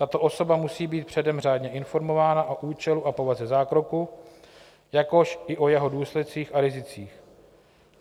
Tato osoba musí být předem řádně informována o účelu a povaze zákroku, jakož i o jeho důsledcích a rizicích.